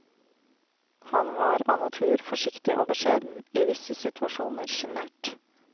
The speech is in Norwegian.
Han var av natur forsiktig og beskjeden, i visse situasjoner sjenert.